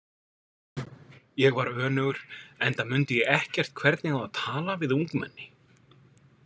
Ég var önugur enda mundi ég ekkert hvernig á að tala við ungmenni.